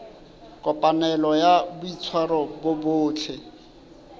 kopanelo ya boitshwaro bo botle